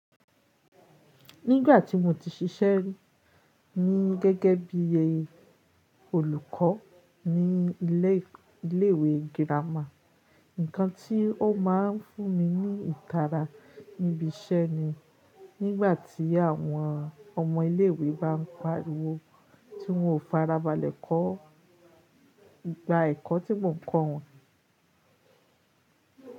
Nígbà tí mo ti ṣiṣẹ́ ní gẹ́gẹ́ bí olùkọ́ ní iléèwé girama, ǹkan tí ó máa ń fún mi ní ìtara níbi iṣẹ́ ni nígbà tí àwọn ọmọ iléèwé bá ń pariwo tí wọn ò fara balẹ̀ kọ́ ìpà ẹ̀kọ́ tí mò ń kọ wọn.